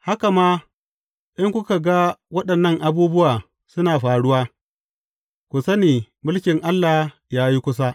Haka ma, in kuka ga waɗannan abubuwa suna faruwa, ku sani mulkin Allah ya yi kusa.